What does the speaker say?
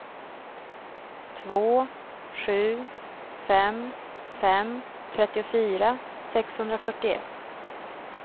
två sju fem fem trettiofyra sexhundrafyrtioett